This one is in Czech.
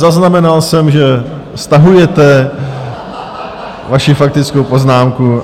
Zaznamenal jsem, že stahujete vaši faktickou poznámku.